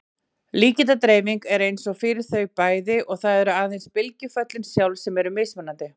Líkindadreifingin er eins fyrir þau bæði og það eru aðeins bylgjuföllin sjálf sem eru mismunandi.